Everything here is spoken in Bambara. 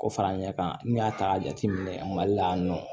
K'o fara n ɲɛ kan n'i y'a ta k'a jateminɛ mali la yan nɔ